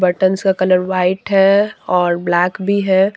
Tense का colour white है और ब्लैक भी है।